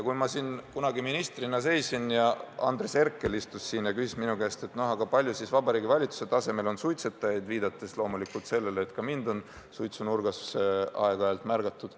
Kunagi ma seisin siin ministrina ja Andres Herkel istus siin ja küsis minu käest, kui palju Vabariigi Valitsuse tasemel on suitsetajaid – viidates loomulikult sellele, et ka mind on suitsunurgas aeg-ajalt märgatud.